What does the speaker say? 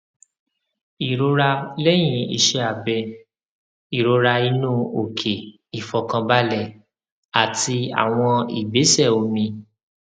ìrora lẹyìn iṣẹ abẹ ìrora inú òkè ìfọkànbalẹ àti àwọn ìgbésẹ omi